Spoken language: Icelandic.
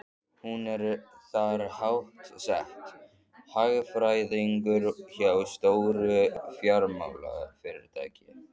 Hún er þar háttsett, hagfræðingur hjá stóru fjármálafyrirtæki.